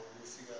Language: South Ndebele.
yesewula